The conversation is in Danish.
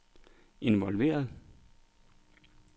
involveret